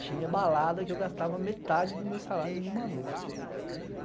Tinha balada que eu gastava metade do meu salário numa noite.